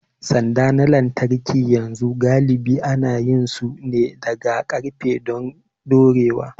Sanda na lantarki yanzu galibi ana yin su ne daga ƙarfe don dorewa.